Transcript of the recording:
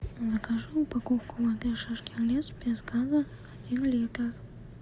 закажи упаковку воды шишкин лес без газа один литр